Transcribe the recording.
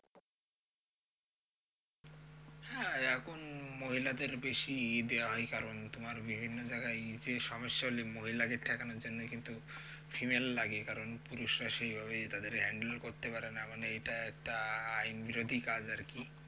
হ্যা এখন উম মহিলাদের বেশি ইয়ে দেয়া হয় কারণ তোমার বিভিন্ন জায়গায় যে সমস্যা হলে মহিলাদের ঠেকানোর জন্য কিন্তু female লাগে কারণ পুরুষরা সেভাবে তাদের handle করতে পারে না মানে এটা একটা আইন বিরোধী কাজ আরকি